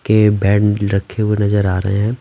के बेड रखे हुए नजर आ रहे हैं ।